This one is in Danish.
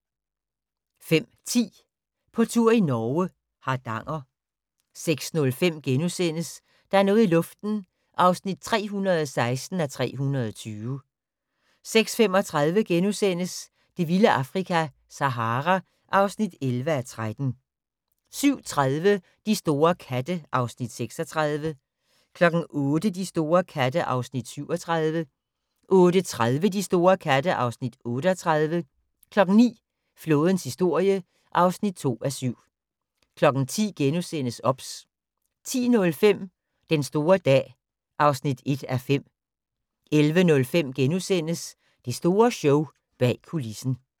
05:10: På tur i Norge: Hardanger 06:05: Der er noget i luften (316:320)* 06:35: Det vilde Afrika - Sahara (11:13)* 07:30: De store katte (Afs. 36) 08:00: De store katte (Afs. 37) 08:30: De store katte (Afs. 38) 09:00: Flådens historie (2:7) 10:00: OBS * 10:05: Den store dag (1:5) 11:05: Det store show – bag kulissen *